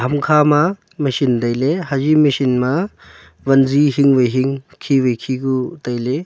ham khama machine tailey haji machine ma vanji hing wai hing khi wai khi ku tailey.